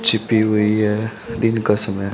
छिपी हुई हैं दिन का समय--